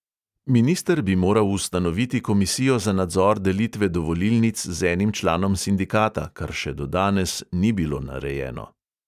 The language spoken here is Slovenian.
Minister bi moral ustanoviti komisijo za nadzor delitve dovolilnic z enim članom sindikata, kar še do danes ni bilo narejeno.